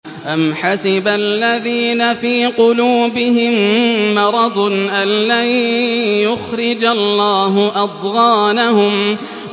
أَمْ حَسِبَ الَّذِينَ فِي قُلُوبِهِم مَّرَضٌ أَن لَّن يُخْرِجَ اللَّهُ أَضْغَانَهُمْ